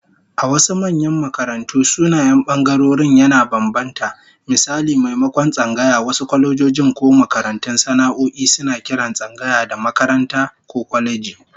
A wasu manyan makarantu, sunayen bangarorin yana bambanta, misali maimakon tsangaya, wasu kwalejojin ko makarantun sana'o'i suna kiran tsangaya da "makaranta" ko "kwaleji"